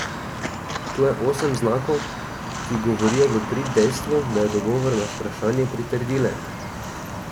Tu je osem znakov, ki govorijo v prid dejstvu, da je odgovor na vprašanje pritrdilen.